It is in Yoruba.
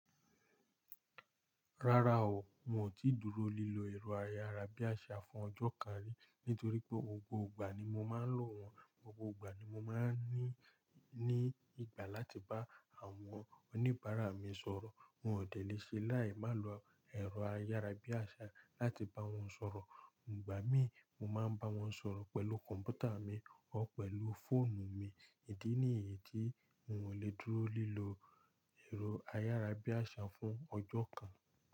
Rárá o, n ò tí dúró lílo ẹ̀rọ ayárabíàṣá fún ọjọ́ kan rí. Nítorí pé gbogbo ìgbà ni mo máa ń lò wọ́n, gbogbo ìgbà ni mo máa ń ní ìgbà láti bá àwọn oníbàárà mi sọ̀rọ̀. N ò dẹ̀ léṣe láì má lo ẹ̀rọ ayárabíàṣá láti bá wọn sọ̀rọ̀. Ìgbà mí, mo máa ń bá wọn sọ̀rọ̀ pẹ̀lú kọ̀ǹpútà mi ọ́ pẹ̀lú fóònù mi. Ìdí nì yìí tí, n ò lè dúró lílọ ẹ̀rọ ayárabíàṣá fún ọjọ́ kan.